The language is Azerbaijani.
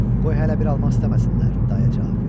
Qoy hələ bir almaq istəməsinlər, dayə cavab verdi.